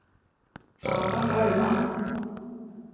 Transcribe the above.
Það var völvan.